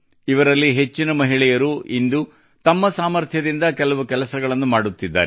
ಇವರಲ್ಲಿ ಹೆಚ್ಚಿನ ಮಹಿಳೆಯರು ಇಂದು ತಮ್ಮ ಸಾಮರ್ಥ್ಯದಿಂದ ಕೆಲವು ಕೆಲಸಗಳನ್ನು ಮಾಡುತ್ತಿದ್ದಾರೆ